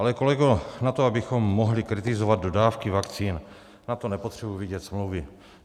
Ale, kolego, na to, abychom mohli kritizovat dodávky vakcín, na to nepotřebuji vidět smlouvy.